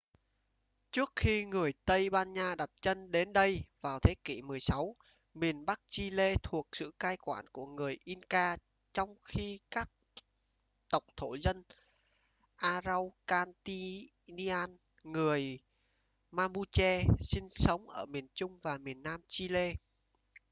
trước khi người tây ban nha đặt chân đến đây vào thế kỷ 16 miền bắc chile thuộc sự cai quản của người inca trong khi các tộc thổ dân araucanian người mapuche sinh sống ở miền trung và miền nam chile